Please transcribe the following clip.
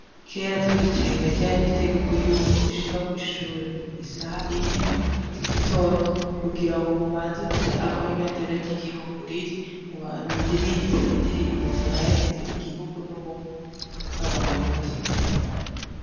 Kera tukiciga ryari itegeko yuko ushika kwishure isaha imwe z' igitondo kugira ngo mumanze guca aho ibendera ry' igihugu riri muririmbe indirimbo zihayagiza igihugu n' ubumwe bw' Abarundi.